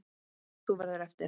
Þú verður eftir.